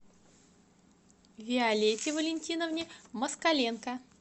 виолетте валентиновне москаленко